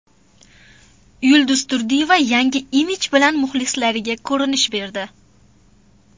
Yulduz Turdiyeva yangi imij bilan muxlislariga ko‘rinish berdi.